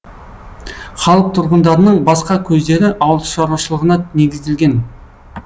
халық тұрғындарының басқа көздері ауылшаруашылығына негізделген